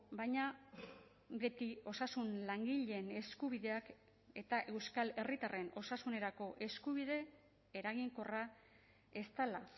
baina beti osasun langileen eskubideak eta euskal herritarren osasunerako eskubide eraginkorra ez dela